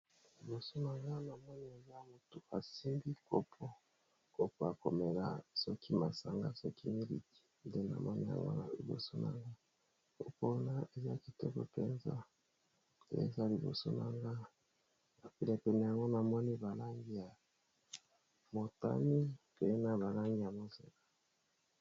Liboso na nga, na moni eza motu asimbi kopo. Kopo ya komela soki masanga, soki miliki. Nde na moni yango na liboso na nga. Kopo wana, eza kitoko mpenza ! Eza liboso na nga. Na penepene na ngo, na moni ba langi ya motani, pe na ba langi ya mozeka.